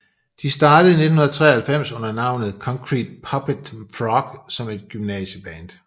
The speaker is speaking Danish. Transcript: De startede i 1993 under navnet Concrete Puppet Frog som et gymnasieband